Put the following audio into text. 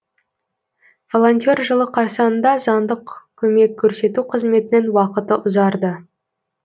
волонтер жылы қарсаңында заңдық көмек көрсету қызметінің уақыты ұзарды